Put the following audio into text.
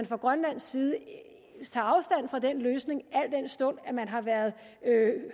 fra grønlandsk side tager afstand fra den løsning al den stund at man har været